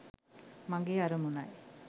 මගේ අරමුණයි.